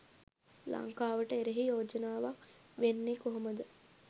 ලංකාවට එරෙහි යෝජනාවක් වෙන්නේ කොහොමද?